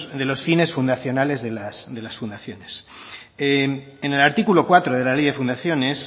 de los fines fundacionales de las fundaciones en el artículo cuatro de la ley de fundaciones